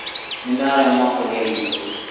Nĩ ndaremwo kũrĩa irio